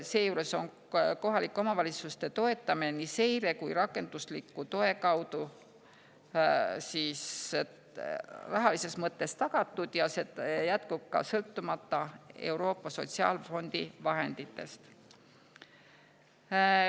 Seejuures on kohalike omavalitsuste toetamine nii seire kui ka rakendusliku toe kaudu rahalises mõttes tagatud ja see jätkub, sõltumata Euroopa Sotsiaalfondi vahenditest.